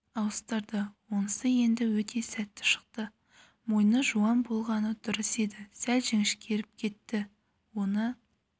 ауыстырды онысы енді өте сәтті шықты мойны жуан болғаны дұрыс еді сәл жіңішкеріп кетті оны